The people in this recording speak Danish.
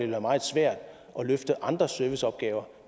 være meget svært at løfte andre serviceopgaver